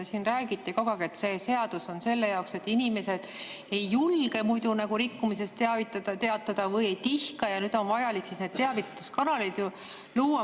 Te siin räägite kogu aeg, et see seadus on selle jaoks, et inimesed ei julge või ei tihka muidu nagu rikkumisest teatada ja nüüd on vajalik need teavituskanalid luua.